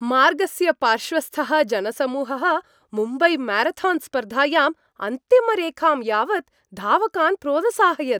मार्गस्य पार्श्वस्थः जनसमूहः मुम्बैम्यारथान्स्पर्धायाम् अन्तिमरेखां यावत् धावकान् प्रोदसाहयत्।